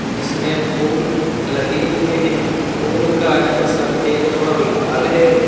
इसमें फूल लगे हुए हैं फूल का रंग सफेद और लाल है।